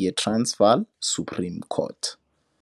ye-Transvaal Supreme Court.